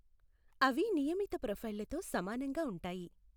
అవి నియమిత ప్రొఫైళ్లతో సమానంగా ఉంటాయి.